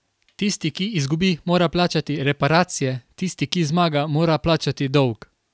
Tisti, ki izgubi mora plačati reparacije, tisti ki zmaga mora plačati dolg.